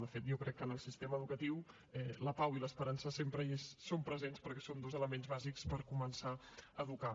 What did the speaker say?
de fet jo crec que en el sistema educatiu la pau i l’esperança sempre hi són presents perquè són dos elements bàsics per començar a educar